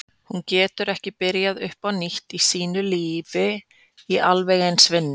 Hún getur ekki byrjað upp á nýtt í sínu nýja lífi í alveg eins vinnu.